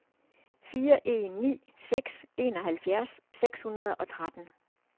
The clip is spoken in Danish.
fire en ni seks enoghalvfjerds seks hundrede og tretten